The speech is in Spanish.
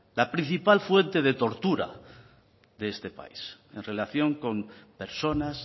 la principal fuente de tortura de este país en relación con personas